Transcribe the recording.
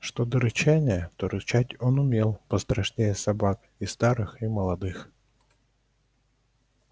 что до рычания то рычать он умел пострашнее собак и старых и молодых